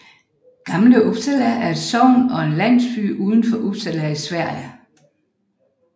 Gamla Uppsala er et sogn og en landsby uden for Uppsala i Sverige